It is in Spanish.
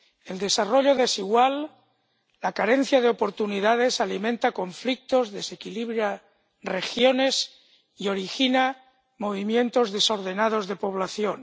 El desarrollo desigual —la carencia de oportunidades— alimenta conflictos, desequilibra regiones y origina movimientos desordenados de población.